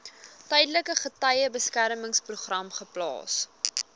tydelike getuiebeskermingsprogram geplaas